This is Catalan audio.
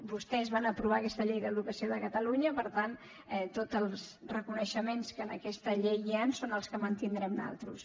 vostès van aprovar aquesta llei d’educació de catalunya per tant tots els reconeixements que en aquesta llei hi han són els que mantindrem nosaltres